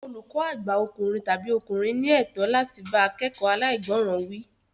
Olùkọ́ àgbà ọkùnrin/obìnrin ní ẹ̀tọ́ láti bá akekoo alaigboran wí